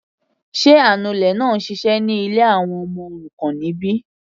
Sé anulẹ̀ náà ń ṣiṣẹ́ ní ilé àwọn ọmọ òrukàn níbí?